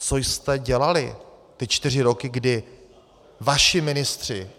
Co jste dělali ty čtyři roky, kdy vaši ministři...